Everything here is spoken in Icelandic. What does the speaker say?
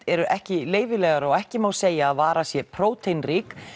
eru ekki leyfilegar og ekki má segja að vara sé próteinrík